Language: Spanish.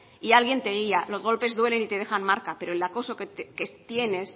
y alguien te guía los golpes duelen y te dejan marca pero el acoso que tienes